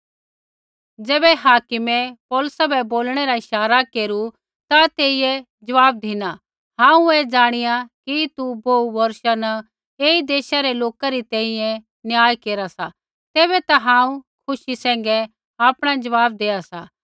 ज़ैबै हाकिमै पौलुसा बै बोलणै रा इशारा केरू ता तेइयै ज़वाब धिना हांऊँ ऐ ज़ाणिया कि तू बोहू बौर्षा न एई देशा रै लोका री तैंईंयैं न्याय केरा सा तैबै ता हांऊँ खुशी सैंघै आपणा ज़वाब देआ सा